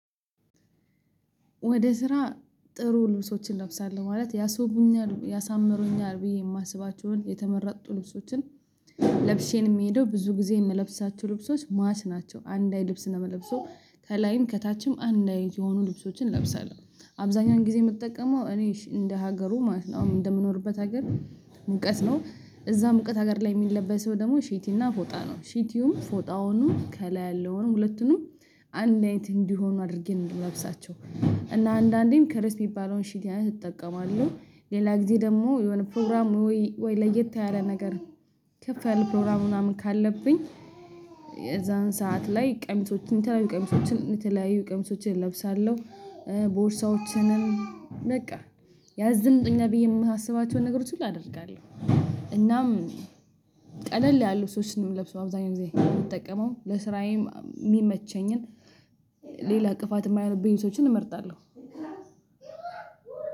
ወደ ስራ ጥሩ ልብሶችን እለብሳለሁ ማለት ያስወቡኛል ያሳምሩኛል ብየ የማስባቸውን የተመረጡ ልብሶችን ለብሼ ነው የምሄደው። ብዙ ጊዜ የምለብሳቸው ልብሶች ማች ናቸው አንድ አይነት ልብስ ነው የምለብሰው። ከላይን ከታችም አንዳይ የሆኑ ልብሶችን እለብሳለሁ አብዛኛውን ጊዜ የምጠቀመው እኔሽ እንደ ሀገሩ ማለት ነው። አሁን እንደምኖርበት ሀገር ሙቀት ነው። እዛ ሙቀት ሀገር ላይ የሚለበስ ደግሞ ሺቲ እና ፎጣ ነው። ሺቲውም ፎጣውንም ከላይ ያለውንም ሁለቱንም አንድ አይንቲ እንዲሆኑ አድርጌ ነው የምለብሳቸው። እና አንዳንዴም ከርስ ቢባለውን ሽቲ አይነት እጠቀማለሁ። ሌላ ጊዜ ደግሞ የሆነ ፕሮግራም ወይ ለየት ያለ ነገር። ከፍ ያለ ፕሮግራም ምናምን ካለብኝ። የዛን ሰዓት ላይ ቀሚሶችን የተለያዩ ቀሚሶችን የተለያዩ ቀሚሶችን እለብሳለሁ። ቦርሳዎችንም በቃ ያዘንጡኛል ብዬ የማስባቸውን የሆነ ነገሮች ሁሉ አደርጋለሁ። እናም ቀለል ያሉ ልብሶች ነው የምለብሰው። አብዛኛው ጊዜ የምጠቀመው ለስራዬም የሚመቸኝም ሌላ እንቅፋት የማይሆኑብኝን ነገር እመርጣለሁ።